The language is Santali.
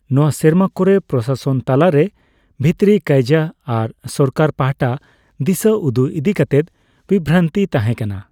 ᱱᱚᱣᱟ ᱥᱮᱨᱢᱟ ᱠᱚᱨᱮ ᱯᱨᱚᱥᱟᱥᱚᱱ ᱛᱟᱞᱟᱨᱮ ᱵᱷᱤᱛᱨᱤ ᱠᱟᱹᱭᱡᱟᱹ ᱟᱨ ᱥᱚᱨᱠᱟᱨ ᱯᱟᱦᱴᱟ ᱫᱤᱥᱟᱹ ᱩᱫᱩᱜ ᱤᱫᱤ ᱠᱟᱛᱮᱫ ᱵᱤᱵᱷᱨᱟᱱᱛᱤ ᱛᱟᱦᱮᱸ ᱠᱟᱱᱟ᱾